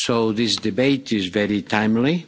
This debate is very timely.